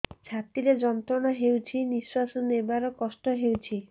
ଛାତି ରେ ଯନ୍ତ୍ରଣା ହେଉଛି ନିଶ୍ଵାସ ନେବାର କଷ୍ଟ ହେଉଛି